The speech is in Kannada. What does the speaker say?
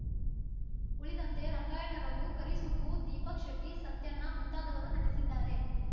ಉಳಿದಂತೆ ರಂಗಾಯಣ ರಘು ಕರಿಸುಬ್ಬು ದೀಪಕ್‌ ಶೆಟ್ಟಿ ಸತ್ಯಣ್ಣ ಮುಂತಾದವರು ನಟಿಸಿದ್ದಾರೆ